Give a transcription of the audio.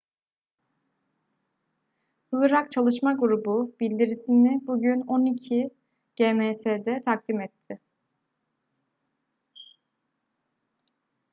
irak çalışma grubu bildirisni bugün 12.00 gmt'de takdim etti